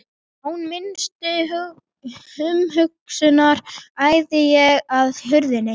Án minnstu umhugsunar æði ég að hurðinni.